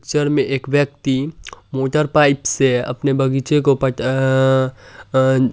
picture में एक व्यक्ति अपने मोटर पाईप से अपने बगीचे को पट अ-अ-अ --